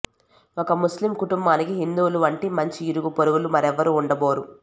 ఒక ముస్లిం కుటుంబానికి హిందువుల వంటి మంచి ఇరుగుపొరుగులు మరెవరూ ఉండబోరు